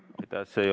Aitäh!